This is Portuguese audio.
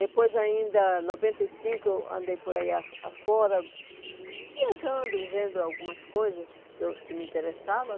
Depois ainda, em noventa e cinco, eu andei por aí a afora viajando, vendo algumas coisas que eu que me interessavam.